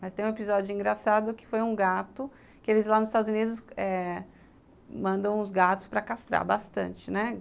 Mas tem um episódio engraçado que foi um gato, que eles lá nos Estados Unidos eh mandam os gatos para castrar bastante, né?